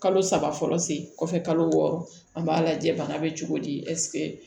Kalo saba fɔlɔ sen kɔfɛ kalo wɔɔrɔ an b'a lajɛ bana bɛ cogo di